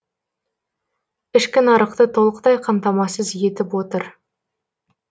ішкі нарықты толықтай қамтамасыз етіп отыр